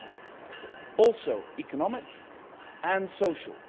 but also economic, and social.